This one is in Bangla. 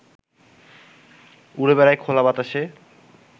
উড়ে বেড়ায় খোলা বাতাসে